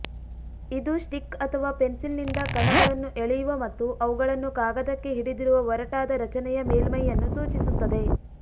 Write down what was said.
ಇದು ಸ್ಟಿಕ್ ಅಥವಾ ಪೆನ್ಸಿಲ್ನಿಂದ ಕಣಗಳನ್ನು ಎಳೆಯುವ ಮತ್ತು ಅವುಗಳನ್ನು ಕಾಗದಕ್ಕೆ ಹಿಡಿದಿರುವ ಒರಟಾದ ರಚನೆಯ ಮೇಲ್ಮೈಯನ್ನು ಸೂಚಿಸುತ್ತದೆ